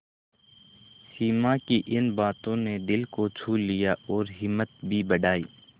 सिमा की इन बातों ने दिल को छू लिया और हिम्मत भी बढ़ाई